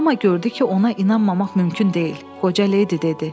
Amma gördü ki, ona inanmamaq mümkün deyil, qoca ledi dedi.